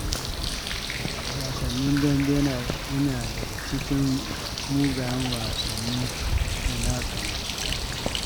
Wasan dambe yana daga cikin mugayen wasannin da na tsana.